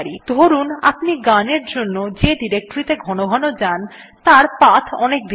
ধরুন আপনি গানের জন্য যে ডিরেক্টরীত়ে ঘনঘন যান তার পাথ অনেক দীর্ঘ